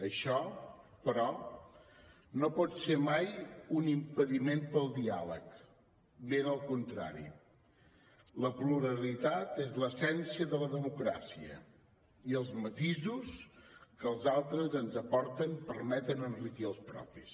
això però no pot ser mai un impediment per al diàleg ben al contrari la pluralitat és l’essència de la democràcia i els matisos que els altres ens aporten permeten enriquir els propis